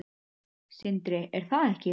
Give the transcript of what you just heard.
Sindri: Er það ekki?